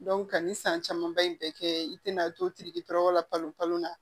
ka ni san camanba in bɛɛ kɛ i tɛna to la kalo la